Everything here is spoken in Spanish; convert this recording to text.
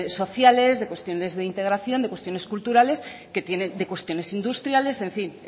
sociales de cuestiones de integración de cuestiones culturales que tienen de cuestiones industriales en fin